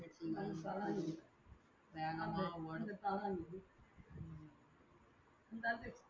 வேகமா ஓடுது